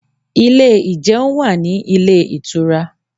Ilé ìjẹun wà ní ilé ìtura